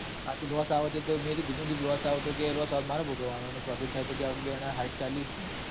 હા તો લોસ આવેતોમેં કીધું કે લોસ આવે તો મારે ભોગવવાનો profit થાય તો આપડે બે સાઈઠ ચાલીમાં.